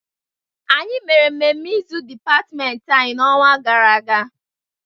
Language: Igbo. Anyị mere mmemme izu dịpatịmentị anyị n'ọnwa gara aga.